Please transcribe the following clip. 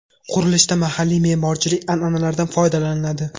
Qurilishda mahalliy me’morchilik an’analaridan foydalaniladi.